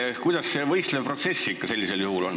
Kuidas sellisel juhul selle võistleva protsessiga ikkagi on?